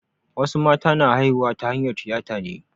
Wasu mata na haihuwa ta hanyar tiyata ne.